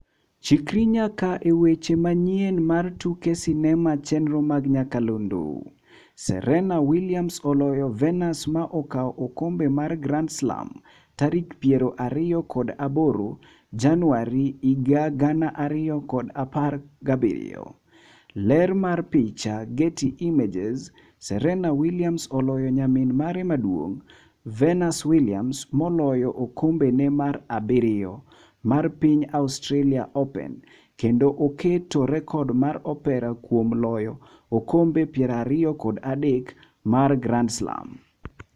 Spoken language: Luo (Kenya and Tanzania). Chikri nyaka e weche manyien mar tuke sinema chenro mag nyakalondo: Serena Williams oloyo Venus ma okaw okombe mar Grand Slam tarik 28 Januari 2017. Ler mar picha, Getty Images. Serena Williams oloyo nyamin mare maduong', Venus Williams moloyo okombe ne mar abiriyo mar piny Australia open, kendo oketo rekod mar Opera kuom loyo okombe 23 mar Grand Slam.